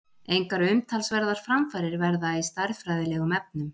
Engar umtalsverðar framfarir verða í stærðfræðilegum efnum.